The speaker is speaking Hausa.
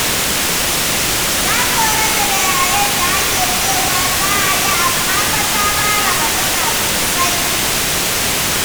Ta tsorata da yayen da ake cewa za a yi, amma fa ta fara magana sosai.